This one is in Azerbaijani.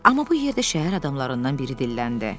Amma bu yerdə şəhər adamlarından biri dilləndi.